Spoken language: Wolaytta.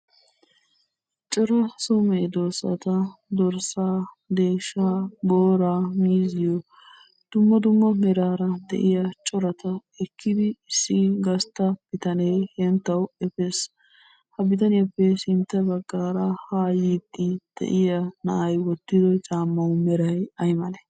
Cora so meddosotta dorssa, deeshsha boora miiziyoo dumma dumma meraara de'iyaa coratta ekiddi issi gastta bittanne henttawu efees. Ha bittanyaappe sintta baggara ha yiddi de'iyaa na'ay wottido caammawu meray ay malle?